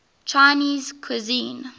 chinese cuisine